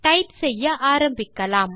type செய்ய ஆரம்பிக்கலாம்